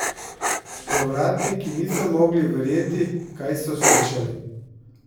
Povratniki niso mogli verjeti, kaj so slišali.